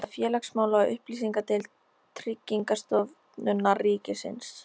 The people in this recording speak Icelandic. Gefið út af félagsmála- og upplýsingadeild Tryggingastofnunar ríkisins